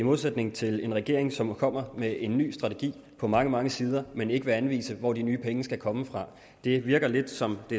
i modsætning til en regering som kommer med en ny strategi på mange mange sider men ikke vil anvise hvor de nye penge skal komme fra det virker lidt som det